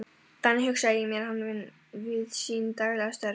Þannig hugsaði ég mér hann við sín daglegu störf.